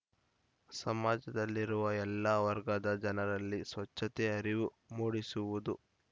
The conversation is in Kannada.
ಸಮಾಜದಲ್ಲಿರುವ ಎಲ್ಲ ವರ್ಗದ ಜನರಲ್ಲಿ ಸ್ವಚ್ಛತೆ ಅರಿವು ಮೂಡಿಸುವುದು